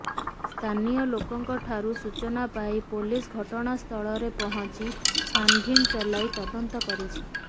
ସ୍ଥାନୀୟ ଲୋକଙ୍କ ଠାରୁ ସୂଚନା ପାଇ ପୋଲିସ ଘଟଣାସ୍ଥଳରେ ପହଞ୍ଚି ଛାନଭିନ ଚଳାଇ ତଦନ୍ତ କରିଛି